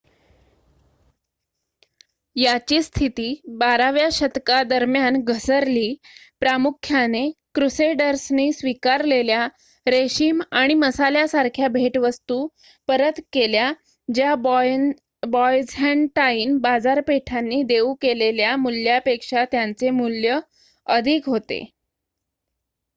याची स्थिती बाराव्या शतकादरम्यान घसरली प्रामुख्याने क्रूसेडर्सनी स्वीकारलेल्या रेशीम आणि मसाल्यासारख्या भेटवस्तू परत केल्या ज्या बायझँटाईन बाजारपेठांनी देऊ केलेल्या मूल्यापेक्षा त्यांचे मूल्य अधिक होते